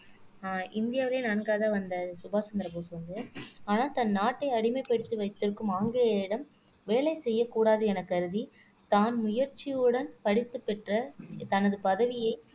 அஹ் இந்தியாவிலேயே நான்காவது வந்த சுபாஷ் சந்திர போஸ் வந்து ஆனால் தன் நாட்டை அடிமைப்படுத்தி வைத்திருக்கும் ஆங்கிலேயரிடம் வேலை செய்யக் கூடாது எனக் கருதி தான் முயற்சியுடன் படித்துப் பெற்ற தனது பதவியை